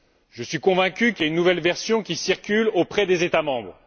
Je suis convaincu qu'il y a une nouvelle version qui circule auprès des États membres.